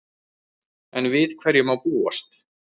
Enn við hverju má búast?